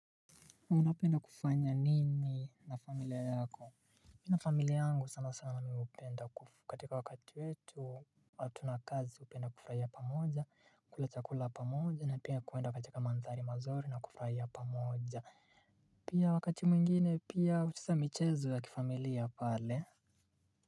Unapenda kufanya nini na familia yako mimi na familia yangu sana sana mi upenda katika wakati wetu. Watu na kazi upenda kufuraia pamoja kula chakula pamoja na pia kuenda katika manthari mazuri na kufraia pamoja. Pia wakati mwingine pia hucheza michezo ya kifamilia pale.